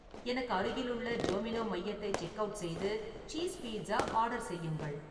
எனக்கு அருகில் உள்ள டோமினோ மையத்தை செக்அவுட் செய்து சீஸ் பீட்சா ஆர்டர் செய்யுங்கள்